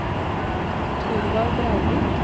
Thorvald Breivik